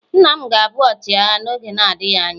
Nna m ga-abụ ọchịagha n'oge na-adịghị anya.